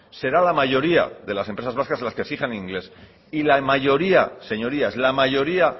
será la mayoría de las empresas vascas las que exijan inglés y la mayoría señorías la mayoría